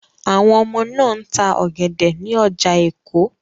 Àwọn ọmọ náà ń ta ọ̀gẹ̀dẹ̀ ní ọjà Èkó.